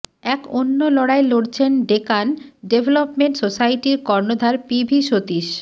এক অন্য লড়াই লড়ছেন ডেকান ডেভেলপমেন্ট সোসাইটির কর্ণধার পিভি সতীশ